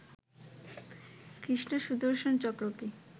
কৃষ্ণ সুদর্শন চক্রকে